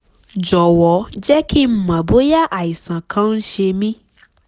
jọ̀wọ́ jẹ́ kí n mọ̀ bóyá àìsàn kan ń ṣe mí